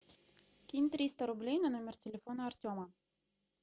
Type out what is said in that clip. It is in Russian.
кинь триста рублей на номер телефона артема